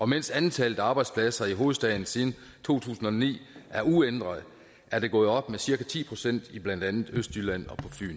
mens antallet af arbejdspladser i hovedstaden siden to tusind og ni er uændret er det gået op med cirka ti procent i blandt andet østjylland